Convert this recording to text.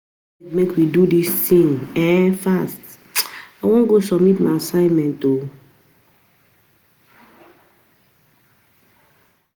The kin thing wey do me for hall today eh, no be wetin the lecturer teach us he set